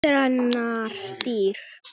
Þrennar dyr.